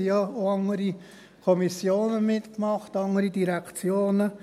Es haben ja auch andere Kommissionen mitgemacht, andere Direktionen.